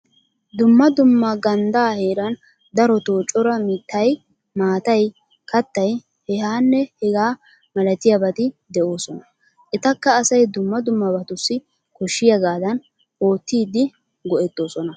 Dumma dumma gandda heeran darotoo cora mittay, maatay, kaattay hehaanne hegaa malatiyabati de'oosona. Etakka asay dumma dummabatussi koshshiyagaadan oottidi go'ettoosona.